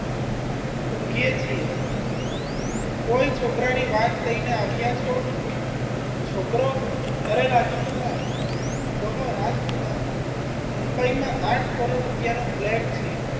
ઊંઘીએ છીએ કોઈ છોકરાની વાત લઈને આવ્યા છો છોકરો રાજકુમાર મુંબઈ આઠ કરોડ રૂપિયાનો flat છે.